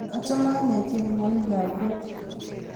Achame ane tyenwogikab rok